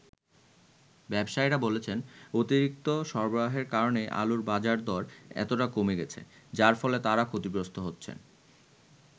ব্যবসায়ীরা বলছেন, অতিরিক্ত সরবরাহের কারণেই আলুর বাজারদর এতটা কমে গেছে, যার ফলে তারাও ক্ষতিগ্রস্ত হচ্ছেন।